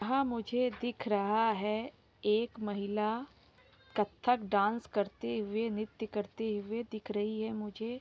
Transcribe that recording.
वहां मुझे दिख रहा है एक महिला कथक डांस करते हुए नृत्य करते हुए दिख रही है मुझे।